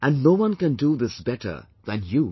And, no one can do this better than you